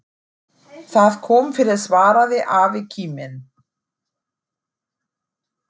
Það kom fyrir svaraði afi kíminn.